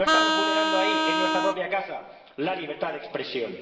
¿No estamos vulnerando ahí, en nuestra propia casa, la libertad de expresión?